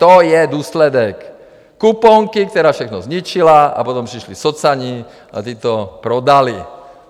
To je důsledek kuponky, která všechno zničila, a potom přišli socani a ti to prodali.